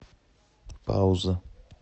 пауза